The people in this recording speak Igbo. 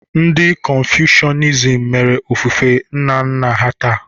Ndị Konfushianism mere ofufe nna nna ha taa.